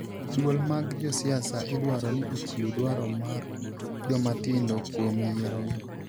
Duol mag josiasa idwaro ni ochiw dwaro mar jomatindo kuom yiero gi